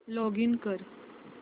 login कर